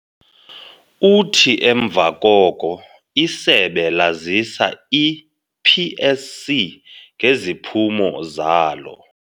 Uthi emva koko isebe lazisa i-PSC ngeziphumo zalo.